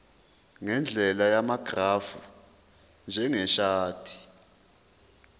ngendlela yamagrafu njengeshadi